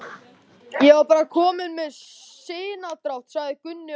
Ég var bara kominn með sinadrátt, sagði Gunni aumur.